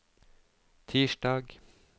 tirsdag